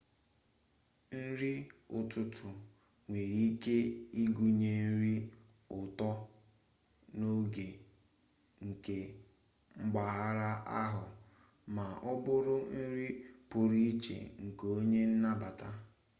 nri ụtụtụ nwere ike ịgụnye nri ụtọ n'oge nke mpaghara ahụ ma ọ bụ nri pụrụ iche nke onye nnabata